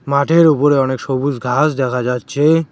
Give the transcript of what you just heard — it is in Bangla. মাঠের উপরে অনেক সবুজ ঘাস দেখা যাচ্ছে।